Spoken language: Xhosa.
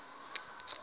akukho namnye oya